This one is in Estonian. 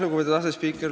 Lugupeetud asespiiker!